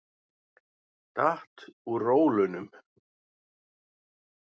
Datt úr rólunum.